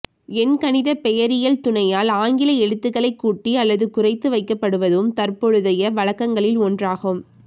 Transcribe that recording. எண் கணித பெயரியல் துணையால் ஆங்கில எழுத்துக்களை கூட்டி அல்லது குறைத்து வைக்கப்படுவதும் தற்பொழுதைய வழக்கங்களில் ஒன்றாகும்